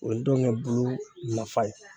O ye dɔngɛ bulu nafa ye